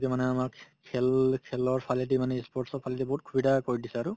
মানে আমাক খেল খেলৰ ফালেদি মানে ই sports ৰ ফালেদি বহুত সুবিধা কৰি দিছে আৰু